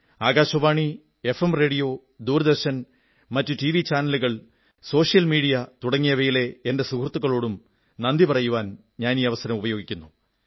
Akashvani FM radio Doordarshan മറ്റു TV ചാനലുകൾ social മീഡിയയിലെ തുടങ്ങിയവയിലെ എന്റെ സുഹൃത്തുക്കളോടും നന്ദി പറയാനാഗ്രഹിക്കുന്നു